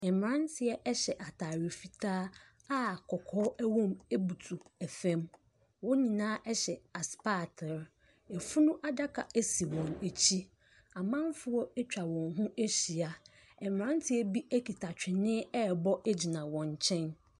Mmranteɛ ɛhyɛ ataare fitaa a kɔkɔɔ wɔ mu butu fam. Wɔn nyinaa hyɛ asopaatre. Efunu adaka si wɔn akyi. Amanfoɔ atwa wɔn ho ahyia. Mmranteɛ bi ekuta twene rebɔ gyina wɔn nkyɛn.